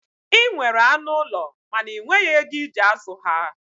Ị nwere anụ ụlọ mana ị nweghi ego ị ji azụ ha.